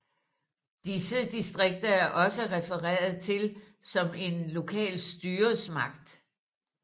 Disse distrikter er også refereret til som en lokal styresmagt